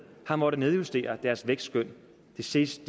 har måttet nedjustere deres vækstskøn de sidste